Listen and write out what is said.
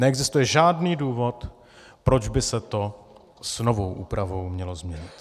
Neexistuje žádný důvod, proč by se to s novou úpravou mělo změnit.